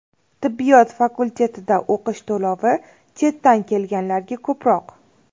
Tibbiyot fakultetida o‘qish to‘lovi chetdan kelganlarga ko‘proq.